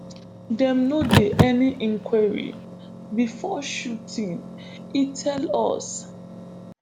dem no do any inquiry bifor shooting e tell us